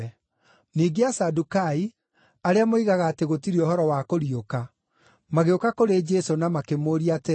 Ningĩ Asadukai, arĩa moigaga atĩ gũtirĩ ũhoro wa kũriũka magĩũka kũrĩ Jesũ na makĩmũũria atĩrĩ,